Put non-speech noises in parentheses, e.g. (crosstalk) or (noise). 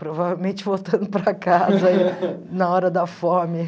Provavelmente voltando para casa (laughs) na hora da fome.